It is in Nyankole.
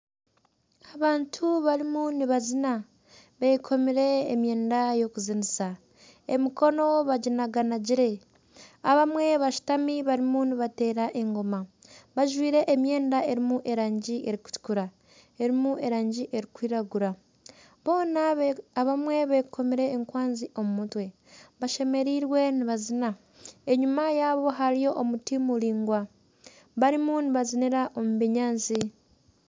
Abantu barimu nibazina beekomire emyenda y'okuzinisa emikono baginaganagire abamwe bashutami barimu nibateera engooma bajwaire emyenda erimu erangi erikutuukura erimu erangi erikwiragura abamwe beekomire enkwanzi omu mutwe bashemerirwe nibazina enyuma yabo hariyo omuti muraingwa barimu nibazinira omu binyaatsi.